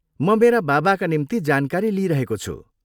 म मेरा बाबाका निम्ति जानकारी लिइरहेको छु।